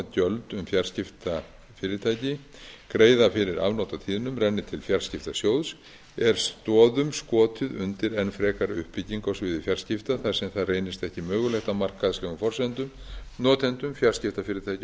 að gjöld um fjarskiptafyrirtæki greiða fyrir afnot af tíðnum renni til fjarskiptasjóðs er stoðum skotið undir enn frekari uppbyggingu á sviði fjarskipta þar sem það reynist ekki mögulegt á markaðslegum forsendum notendum fjarskiptafyrirtækjum